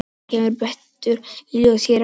Þetta kemur betur í ljós hér á eftir.